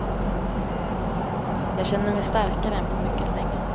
Jag känner mig starkare än på mycket länge.